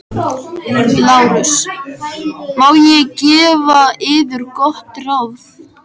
LÁRUS: Má ég gefa yður gott ráð?